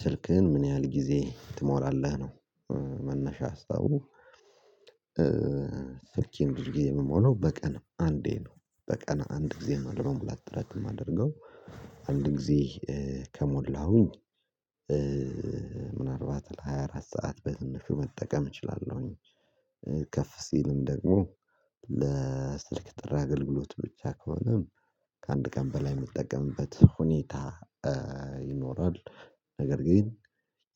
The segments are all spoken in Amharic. ስልክህን ምን ያህል ጊዜ ትሞላለህ ነው? መነሻ ሀሳቡ። ስልኬን አድርጌ ምሞላው በቀን አንዴ ነው። በቀን አንድ ጊዜ ነው ለመሙላት ጥረት የማደርገው። አንድ ጊዜ ከሞላሁኝ ምናልባት ለሃያ አራት ሰዓት በትንሹ መጠቀም እችላለሁኝ። ከፍ ሲልም ደግሞ ለስልክ ጥሪ አገልግሎት ብቻ ከሆነ ከአንድ ቀን በላይ የምጠቀምበት ሁኔታ ይኖራል። ነገር ግን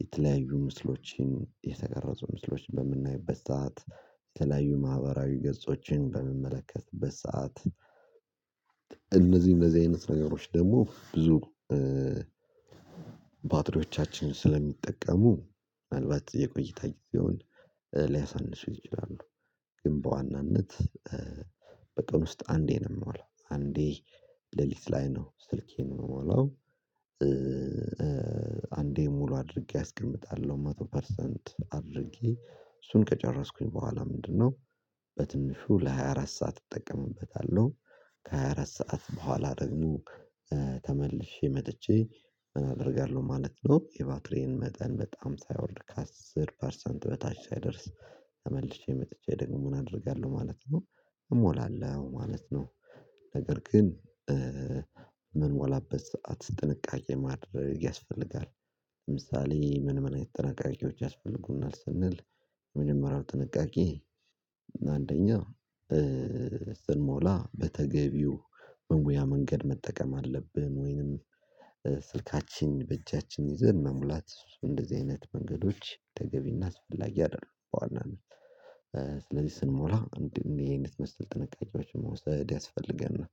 የተለያዩ ምስሎችን የተቀረጹ ምስሎችን በምናይበት ሰዓት የተለያዩ ማህበራዊ ገጾችን በምመለከትበት ሰዓት እነዚህ እነዚህ አይነት ነገሮች ደግሞ ብዙ ባትሬወቻችን ስለሚጠቀሙ ምናልባት የቆይታ ጊዜውን ሊያሳንሱ ይችላሉ። ግን በዋናነት በቀን ውስጥ አንዴ ነው የምሞላው አንዴ ሌሊት ላይ ነው ስልኬን ምሞላው። አንዴ ሙሉ አድርጌ አስቀምጣለሁ መቶ ፐርሰንት አድርጌ እሱን ከጨረስኩኝ በኋላ ምንድነው በትንሹ ለሃያ አራት ሰዓት እጠቀምበታለሁ ከሃያ አራት ሰዓት በኋላ ደግሞ መጥቼ ምን አደርጋለሁ ማለት ነው። የባትሪዬን መጠን በጣም ሳይወርድ ከአስር ፐርሰንት በታች ሳይደርስ ተመልሼ መጥቼ ደግሞ አደርጋለሁ ማለት ነው እሞላለሁ ማለት ነው። ነገር ግን ምንሞላበት ሰዓት ጥንቃቄ ማድረግ ያስፈልጋል። ለምሳሌ ምን ምን አይነት ጥንቃቄዎች ያስፈልጉናል? ስንል የመጀመሪያው ጥንቃቄ አንደኛ ስንሞላ በተገቢው መሙያ መንገድ መጠቀም አለብን ወይንም ስልካችን በእጃችን ይዘን መሙላት እንደዚህ አይነት መንገዶች ተገቢና አስፈላጊ አይደሉም። በዋናነት ስለዚህ ስንሞላ እንድን የዚህን መሰል ጥንቃቄዎችን መውሰድ ያስፈልገናል።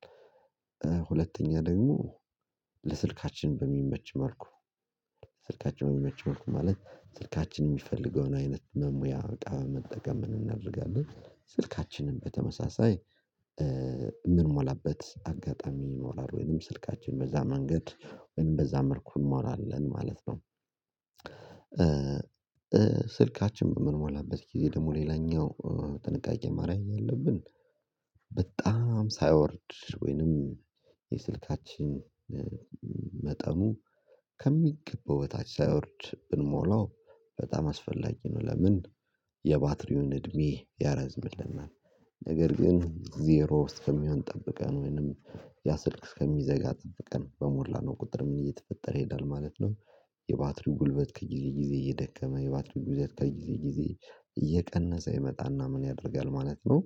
ሁለተኛ ደግሞ ለስልካችን በሚመች መልኩ ስልካችን በሚመች መልኩ ማለት ስልካችን የሚፈልገውን አይነት መሙያ እቃ መጠቀም እናደርጋለን ስልካችንን በተመሳሳይ የምንሞላበት አጋጣሚ ይኖራል ወይንም ስልካችን በዛ መንገድ ወይም በዛ መልኩ እንሞላለን ማለት ነው። ስልካችን በምንሞላበት ጊዜ ደግሞ ሌላኛው ጥንቃቄ ማረግ ያለብን በጣም ሳይወርድ ወይንም የስልካችን መጠኑ ከሚገበው በታች ሳይወርድ ብንሞላው በጣም አስፈላጊ ነው። ለምን የባትሪውን እድሜ ያረዝምልናል። ነገር ግን ዜሮ ውስጥ ከሚሆን ጠብቀን ወይንም ያ ስልክ እስከሚዘጋ ጠብቀን በሞላ ነው ቁጥር ምን እየተፈጠረ ይሄዳል ማለት ነው። የባትሪው ጉልበት ከዚህ ጊዜ እየደከመ የባትሪው ጉዳት ከዚህ ጊዜ እየቀነሰ ይመጣና ምን ያደርጋል ማለት ነው።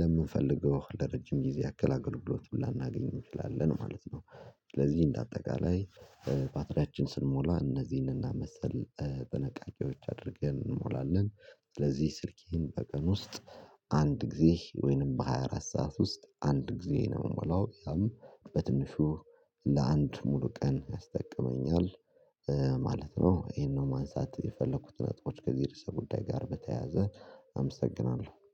ለምንፈልገው ለረጅም ጊዜ አገላገልግሎት ላናገኝ እንችላለን ማለት ነው። ስለዚህ እንደ አጠቃላይ ባትሪያችን ስንሞላ እነዚህን እና መሰል ጥንቃቄወች አድርገን እንሞላለን። ስለዚህ ስልኬን በቀን ውስጥ አንድ ጊዜ ወይንም በሃያ አራት ሰዓት ውስጥ አንድ ጊዜ ነው ምሞላው ያም በትንሹ ለአንድ ሙሉ ቀን ያስጠቅመኛል ማለት ነው። ይሄን ነው ማንሳት የፈለኩት ነጥቦች ከዚህ ርዕሰ ጉዳይ ጋር በተያያዘ አመሰግናለሁ